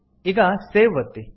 ಈಗ ಸೇವ್ ಒತ್ತಿ